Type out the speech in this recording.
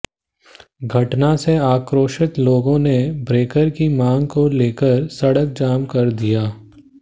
घटना से आक्रोशित लोगों ने ब्रेकर की मांग को लेकर सड़क जाम कर दिया